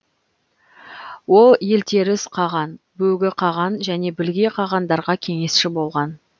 ол елтеріс қаған бөгі қаған және білге қағандарға кеңесші болған